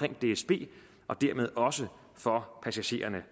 dsb og dermed også for passagererne